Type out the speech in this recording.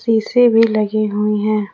शीशे भी लगे हुए हैं।